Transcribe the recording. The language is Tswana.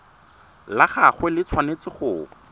la gagwe le tshwanetse go